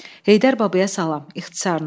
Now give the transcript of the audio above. Heydər Babaya salam, ixtisarən.